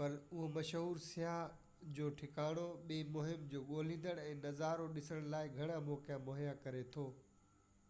پر اهو مشهور سياح جو ٺڪاڻو ٻئي مهم جو ڳوليندڙ ۽ نظارو ڏسندڙن لاءِ گهڻا موقعا مهيا ڪري ٿو